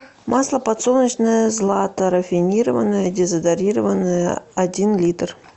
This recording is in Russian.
масло подсолнечное злато рафинированное дезодорированное один литр